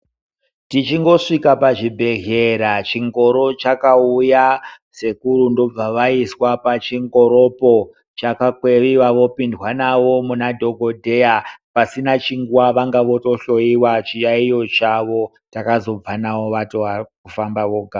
Tichingosvika pazvibhedhlera, chingoro chakauya. Sekuru ndobva vaiswa pachingoropo. Chakakweviwa vopindwa navo muna dhokodheya. Pasina chinguva vanga votohloyiwa chiyaiyo chawo. Takazobva navo vatova kufamba vega.